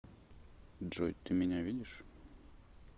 джой ты меня видишь